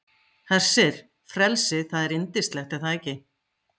Hersir, frelsið, það er yndislegt er það ekki?